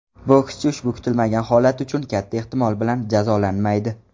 Bokschi ushbu kutilmagan holat uchun, katta ehtimol bilan, jazolanmaydi.